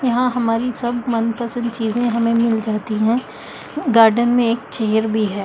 यहां हमारी सब मनपसंद चीजें हमें मिल जाती है गार्डन में एक चेयर भी है।